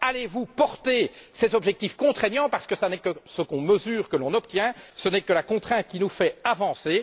Allez vous rendre cet objectif contraignant parce que ce n'est que ce que l'on mesure que l'on obtient, que ce n'est que la contrainte qui nous fait avancer?